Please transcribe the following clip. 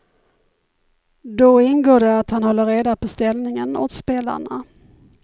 Då ingår det att han håller reda på ställningen åt spelarna.